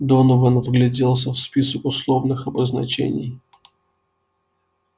донован вгляделся в список условных обозначений